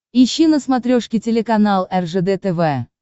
ищи на смотрешке телеканал ржд тв